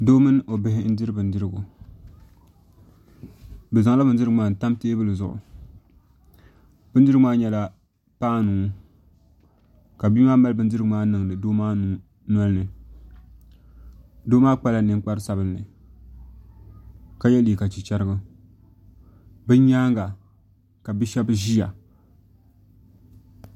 Doo mini o bihi n diri bindirigu bi zaŋla bindirigu maa n tam teebuli zuɣu bindirigu maa nyɛla paanu ka bia maa mali bindirigu maa niŋdi doo maa nolini doo maa kpala ninkpari sabinli ka yɛ liiga chichirigu bi nyaanga ka bia shab ʒiya